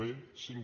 b cinc